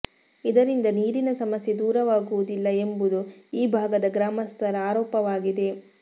ಇದರಿಂದ ನೀರಿನ ಸಮಸ್ಯೆ ದೂರವಾಗುವುದಿಲ್ಲ ಎಂಬುದು ಈ ಭಾಗದ ಗ್ರಾಮಸ್ಥರ ಆರೋಪವಾಗಿದೆ